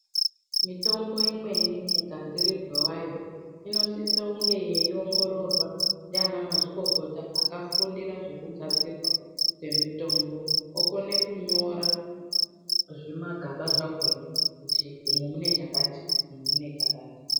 Mitombo imweni mugadzirirwe wayo inosise kunge yeiongororwa ndiana mazvikokota akufundira zvekugadzirwa kwemitombo okone kunyora zvimagaba zvakona kuti umu mune chakati umumune chakati.